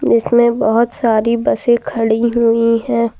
जिसमें बहुत सारी बसें खड़ी हुई हैं।